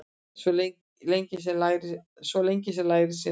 Svo lengi lærir sem lifir.